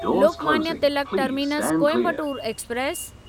Lokmanya Tilak terminus Coimbatore express